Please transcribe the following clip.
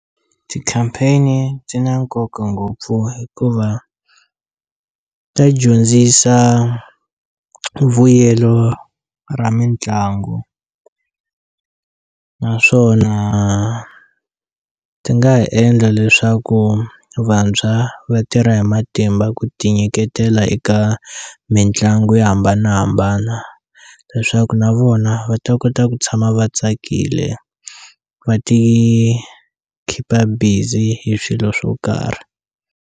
Ti-campaign-i ti na nkoka ngopfu hikuva ta dyondzisa vuyelo ra mitlangu naswona ti nga ha endla leswaku vantshwa va tirha hi matimba ku ti nyiketela eka mitlangu yo hambanahambana leswaku na vona va ta kota ku tshama va tsakile va ti khipa busy hi swilo swo karhi.